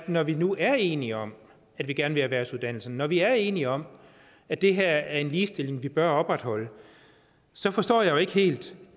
når vi nu er enige om at vi gerne vil erhvervsuddannelserne når vi er enige om at det her er en ligestilling vi bør opretholde så forstår jeg jo ikke helt